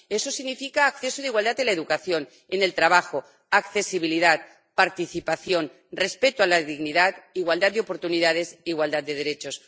Ello significa acceso de igualdad en la educación, en el trabajo, accesibilidad, participación, respeto a la dignidad, igualdad de oportunidades, igualdad de derechos.